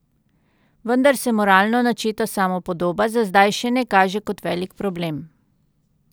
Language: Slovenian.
Vendar se moralno načeta samopodoba za zdaj še ne kaže kot velik problem.